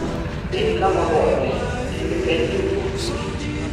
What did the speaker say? bed kama oluorore kendo penj jopur duto